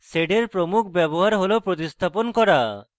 sed এর প্রমুখ ব্যবহার হল প্রতিস্থাপন করা